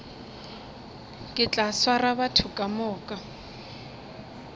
ke tla swara batho kamoka